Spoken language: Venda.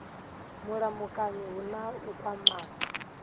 mulamukanyi hu na u kwamana